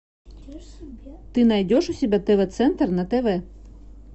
ты найдешь у себя тв центр на тв